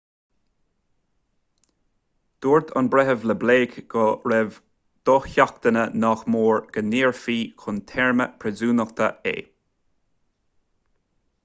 dúirt an breitheamh le blake go raibh dosheachanta nach mór go ndaorfaí chun téarma príosúnachta é